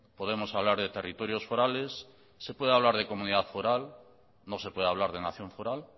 podemos hablar de territorios forales se puede hablar de comunidad foral no se puede hablar de nación foral